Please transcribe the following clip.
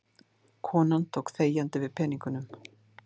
Konan tók þegjandi við peningunum.